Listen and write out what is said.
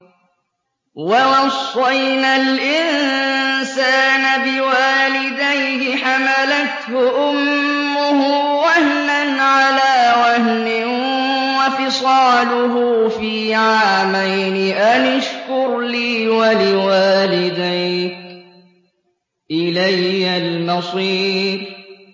وَوَصَّيْنَا الْإِنسَانَ بِوَالِدَيْهِ حَمَلَتْهُ أُمُّهُ وَهْنًا عَلَىٰ وَهْنٍ وَفِصَالُهُ فِي عَامَيْنِ أَنِ اشْكُرْ لِي وَلِوَالِدَيْكَ إِلَيَّ الْمَصِيرُ